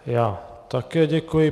Já také děkuji.